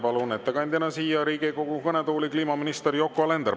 Palun ettekandjaks siia Riigikogu kõnetooli kliimaminister Yoko Alenderi.